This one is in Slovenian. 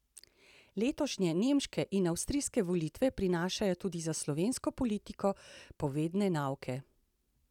Letošnje nemške in avstrijske volitve prinašajo tudi za slovensko politiko povedne nauke.